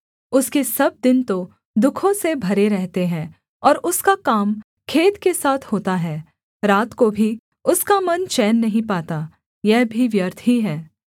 उसके सब दिन तो दुःखों से भरे रहते हैं और उसका काम खेद के साथ होता है रात को भी उसका मन चैन नहीं पाता यह भी व्यर्थ ही है